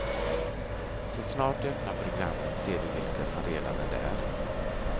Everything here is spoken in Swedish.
Så snart du öppnar programmet ser du vilka som redan är där.